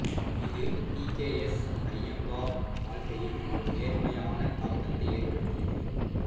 இது P K S Iyengar வாழ்க்கையில் ஒரு நேர்மறையான தாக்கத்தை ஏற்படுத்தியது